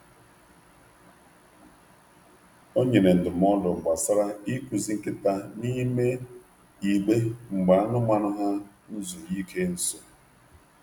O nyere ndụmọdụ gbasara ịkụzi nkịta n’ime igbe mgbe anụmanụ ha n'zuru ike nso.